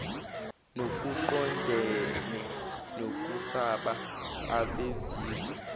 nokuqondene nokusaba abezizwe